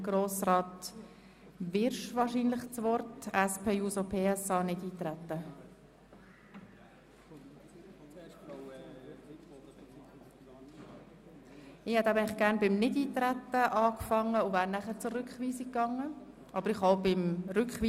So sind die Zahlen ohne Berücksichtigung der Steuergesetzvorlage darzustellen, da das Steuergesetz noch nicht in Kraft ist und es ist auf jene Abbaumassnahmen zu verzichten, welche einen Leistungsabbau bedeuten.